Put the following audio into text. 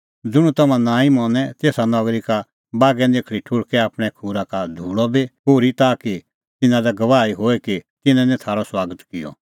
ज़ुंण तम्हां नांईं मनें तेसा नगरी का बागै निखल़दी ठुल़्हकै आपणैं खूरा का धूल़अ बी पोर्ही ताकि तिन्नां लै गवाही होए कि तिन्नैं निं थारअ सुआगत किअ